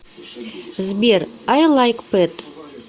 сбер ай лайк пэт